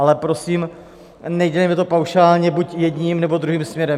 Ale prosím, nedělejme to paušálně buď jedním, nebo druhým směrem.